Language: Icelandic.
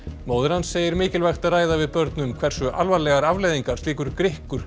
móðir hans segir mikilvægt að ræða við börn um hversu alvarlegar afleiðingar slíkur